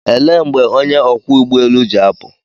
Elee mgbe onye ọkwọ ụgbọelu ji apụ?